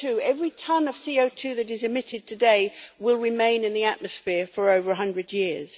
Every tonne of CO2 that is emitted today will remain in the atmosphere for over a hundred years.